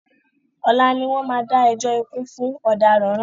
Ọlá ni wọn má dá ẹjọ́ ikú fún ọ̀daràn náà